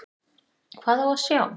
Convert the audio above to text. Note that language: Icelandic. Hvað á að sjá?